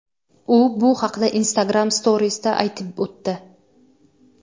U bu haqda Instagram Stories’da aytib o‘tdi.